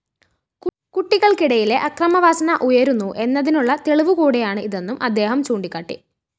കുട്ടികള്‍ക്കിടയിലെ അക്രമവാസന ഉയരുന്നു എന്നതിനുള്ള തെളിവുകൂടിയാണ് ഇതെന്നും അദ്ദേഹം ചൂണ്ടിക്കാട്ടി